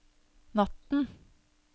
natten